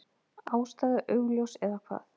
Ástæða augljós. eða hvað?